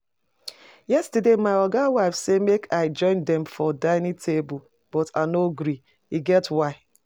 Yestersday my oga wife say make I join dem for dining table but I no gree, e get why